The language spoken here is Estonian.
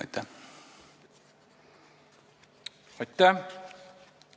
Aitäh!